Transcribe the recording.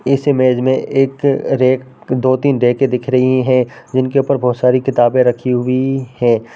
इस इमेज में एक रैक दो तीन रैके दिख रही है जिनके ऊपर बहुत सारी किताबे रखी हुइ है।